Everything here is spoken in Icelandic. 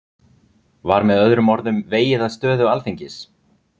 Var með öðrum orðum vegið að stöðu Alþingis?